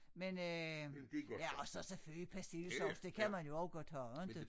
Men øh ja og så selvfølgelig persillesovs det kan man jo også godt have inte